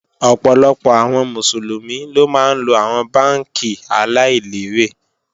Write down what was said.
Ọ̀pọ̀lọpọ̀ àwọn Mùsùlùmí ló máa ńlo àwọn bánkì aláìlérè